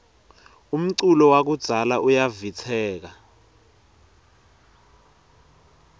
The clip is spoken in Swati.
umculo wakudzala uyavistseka